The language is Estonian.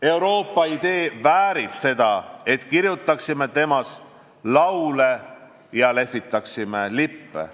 Euroopa idee väärib seda, et kirjutaksime temast laule ja lehvitaksime lippe.